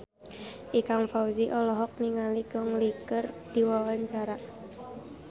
Ikang Fawzi olohok ningali Gong Li keur diwawancara